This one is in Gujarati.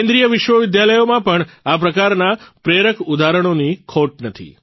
કેન્દ્રીય વિશ્વવિદ્યાલયોમાં પણ આ પ્રકારના પ્રેરણ ઉદાહરણોની ખોટ નથી